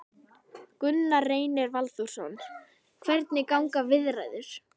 Gunnar Reynir Valþórsson: Hvernig ganga viðræður?